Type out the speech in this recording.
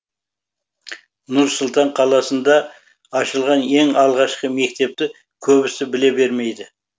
нұр сұлтан қаласында ашылған ең алғашқы мектепті көбісі біле бермейді